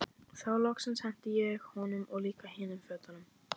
Þá loksins henti ég honum og líka hinum fötunum.